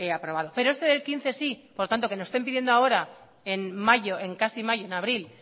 aprobado pero este del quince sí por lo tanto que nos estén pidiendo ahora en mayo en casi mayo en abril